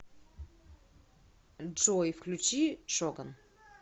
джой включи шоган